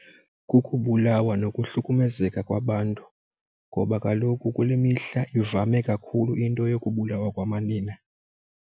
Kukubulawa nokuhlukumezeka kwabantu ngoba kaloku kule mihla ivame kakhulu into yokubulawa kwamanina.